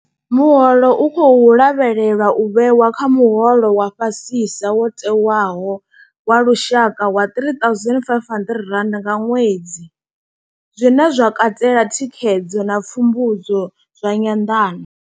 Muholo u khou lavhelelwa u vhewa kha muholo wa fhasisa wo tewaho wa lushaka wa R3 500 nga ṅwedzi, zwine zwa katela thikhedzo na pfumbudzo zwa nyanḓano.